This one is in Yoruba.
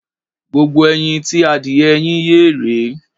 Gbogbo ẹyin tí adìyẹ yín yé rèé.